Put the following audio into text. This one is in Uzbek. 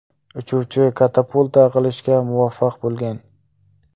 Uchuvchi katapulta qilishga muvaffaq bo‘lgan.